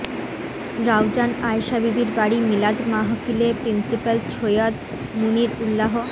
রাউজান আয়শা বিবির বাড়ি মিলাদ মাহফিলে প্রিন্সিপাল ছৈয়্যদ মুনির উল্লাহ্